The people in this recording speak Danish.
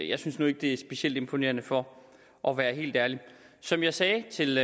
jeg synes nu ikke det er specielt imponerende for at være helt ærlig som jeg sagde til